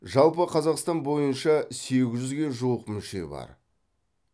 жалпы қазақстан бойынша сегіз жүзге жуық мүше бар